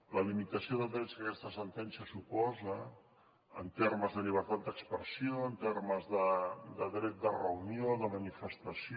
la limitació de drets que aquesta sentència suposa en termes de llibertat d’expressió en termes de dret de reunió de manifestació